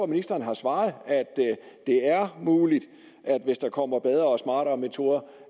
ministeren har svaret at det er muligt hvis der kommer bedre og smartere metoder